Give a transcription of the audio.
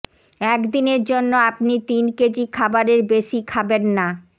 একদিনের জন্য আপনি তিন কেজি খাবারের বেশি খাবেন না